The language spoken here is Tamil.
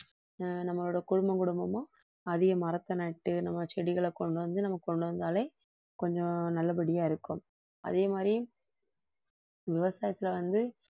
நம்மளோட குடும்பம் குடும்பமும் அதிக மரத்த நட்டு நம்ம செடிகளை கொண்டு வந்து நம்ம கொண்டு வந்தாலே கொஞ்சம் நல்லபடியா இருக்கும் அதே மாதிரி விவசாயத்தில வந்து